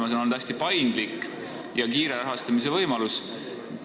See on olnud hästi paindlik ja kiire rahastamise võimalus.